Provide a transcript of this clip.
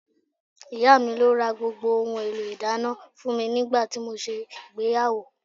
Ìyá mi ló ra gbogbo ohun èlò ìdáná fún mi nígbà tí mo ṣe ìgbéyàwó